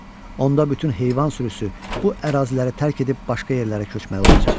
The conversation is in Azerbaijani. Onda bütün heyvan sürüsü bu əraziləri tərk edib başqa yerlərə köçməli olacaq.